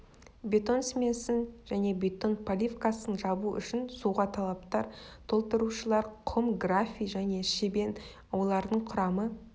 бетон смесін және бетон поливкасын жабу үшін суға талаптар толтырушылар құм графий және щебень олардың құрамы